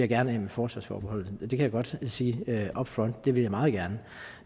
gerne af med forsvarsforbeholdet det kan jeg godt sige upfront det vil jeg meget gerne